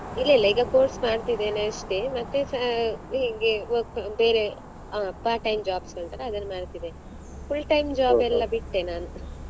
ಇಲ್ಲ ಇಲ್ಲ ಈಗ course ಮಾಡ್ತಿದ್ದೇನೆ ಅಷ್ಟೆ ಮತ್ತೆ ಅಹ್ ಹಿಂಗೇ work ಬೇರೆ ಅ part time jobs ಉಂಟಲ ಅದನ್ನ್ ಮಾಡ್ತಿದ್ದೇನೆ. full time job ಎಲ್ಲ ಬಿಟ್ಟೆ ನಾನು.